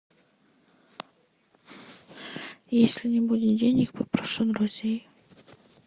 если не будет денег попрошу у друзей